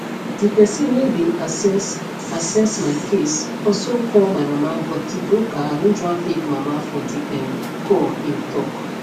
di pesin wey bin assess assess my case also call my mama but di broker arrange one fake mama for di um call im tok